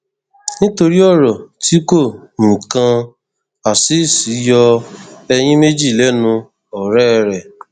nítorí ọrọ ti kó nǹkan azeez yọ ẹyìn méjì lẹnu ọrẹ rẹ